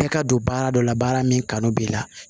Kɛ ka don baara dɔ la baara min kanu b'i la